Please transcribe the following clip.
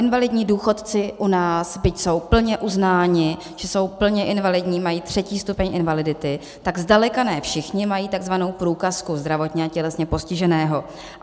Invalidní důchodci u nás, byť jsou plně uznáni, že jsou plně invalidní, mají třetí stupeň invalidity, tak zdaleka ne všichni mají takzvanou průkazku zdravotně a tělesně postiženého.